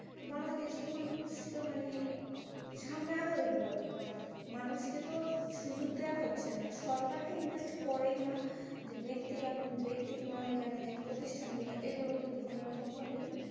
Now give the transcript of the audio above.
বাংলাদেশ এর মানুষ মানে সামনে আগাবে কি ভাবে মানুষ কে তো সুযোগ দেওয়া হচ্ছে না সরকার তো invest করেই না ব্যক্তি মালি ব্যক্তি মালিকানা যে প্রতিষ্ঠান গুলা এগুলোও কিন্তু কোনোৰম ভাবেই